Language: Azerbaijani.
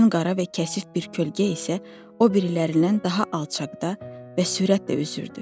Ən qara və kəsif bir kölgə isə o birilərindən daha alçaqda və sürətlə üzürdü.